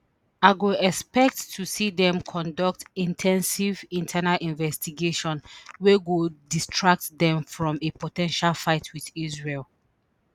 i go expect to see dem conduct in ten sive internal investigation wey go distract dem from a po ten tial fight with israel